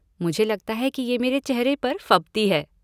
मुझे लगता है कि ये मेरे चेहरे पर फबती है।